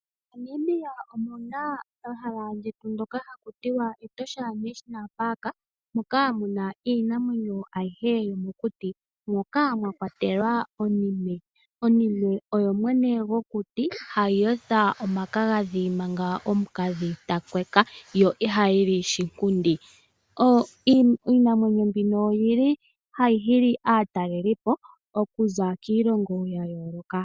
Namibia omu na ehala ndyoka hali ithanwa Etosha National Park moka mu na iinamwenyo ayihe yomokuti moka mwa kwatelwa onime. Onime oyo mwene gokuti ndjoka hayi yotha omakagadhi manga omukadhi ta kweka, yo ihayi li shinkundi. Iinamwenyo mbino ohayi nana aatalelipo okuza kiilongo ya yooloka.